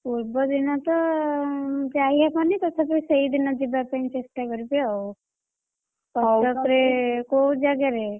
ପୂର୍ବଦିନ ତ ଯାଇ ହବନି ତଥାପି ସେଇଦିନ ଯିବା ପାଇଁ ଚେଷ୍ଟା କରିବି ଆଉ, କଟକରେ କଉ ଜାଗାରେ?